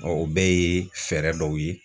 Ɔ o bɛɛ ye fɛɛrɛ dɔw ye